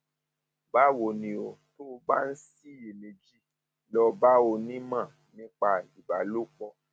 báwo ni o tó o bá ń ṣiyèméjì lọ bá onímọ nípa bá onímọ nípa ìbálòpọ